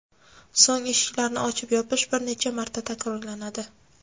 So‘ng eshiklarni ochib-yopish bir necha marta takrorlanadi.